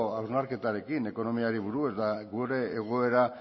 hausnarketarekin ekonomiari buruz eta gure egoera